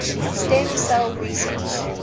stem cell research